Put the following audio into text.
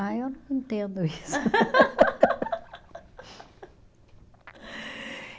Ai, eu não entendo isso.